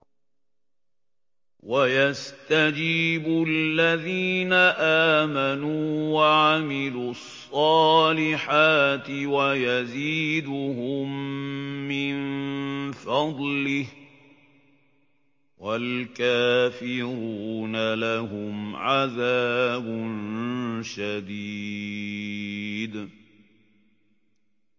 وَيَسْتَجِيبُ الَّذِينَ آمَنُوا وَعَمِلُوا الصَّالِحَاتِ وَيَزِيدُهُم مِّن فَضْلِهِ ۚ وَالْكَافِرُونَ لَهُمْ عَذَابٌ شَدِيدٌ